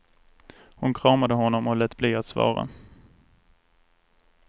Hon kramade honom och lät bli att svara.